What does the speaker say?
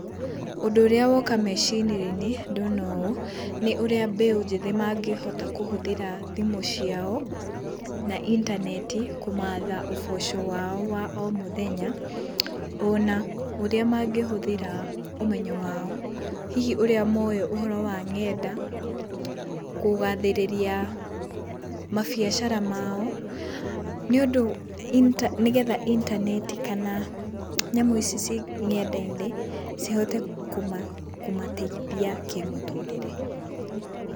Ũndũ ũrĩa woka meciria-inĩ ndona ũũ, nĩ ũrĩa mbeũ njĩthĩ mangĩhota kũhũthĩra thimũ ciao, na intaneti kũmatha ũboco wao wa o mũthenya. Ona ũrĩa mangĩhũthĩra ũmenyo wao, hihi ũrĩa moĩ ũhoro wa ngenda, kũgathĩrĩria mabiacara mao, nĩũndũ intaneti nĩgetha intaneti kana nyamũ ici ciĩ ngenda-inĩ cihote kũmateithia kĩmũtũrĩre.